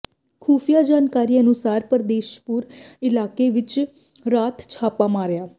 ਖੁਫੀਆ ਜਾਣਕਾਰੀ ਅਨੁਸਾਰ ਪਰਦੇਸ਼ੀਪੁਰ ਇਲਾਕੇ ਵਿੱਚ ਰਾਤ ਛਾਪਾ ਮਾਰਿਆ